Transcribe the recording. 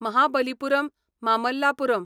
Mahabalipuram Mamallapuram